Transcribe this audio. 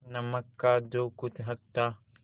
नमक का जो कुछ हक था